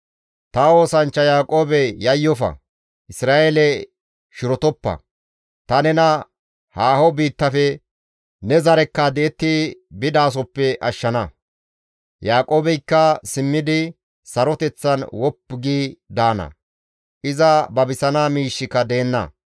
«Ta oosanchcha Yaaqoobe yayyofa; Isra7eele shirotoppa; ta nena haaho biittafe ne zarekka di7etti bidasoppe ashshana. Yaaqoobeykka simmidi saroteththan woppu gi daana; iza babisana miishshika deenna.